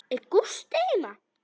Er Gústi heima?